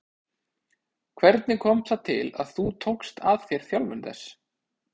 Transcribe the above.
Hvernig kom það til að þú tókst að þér þjálfun þess?